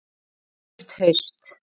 Eilíft haust.